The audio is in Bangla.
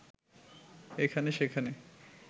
এখানে-সেখানে